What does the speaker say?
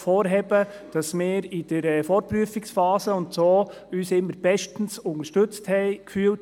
Wir haben uns unter anderem in der Vorprüfungsphase immer sehr gut vom AGR unterstützt gefühlt.